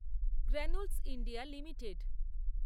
Granules India limited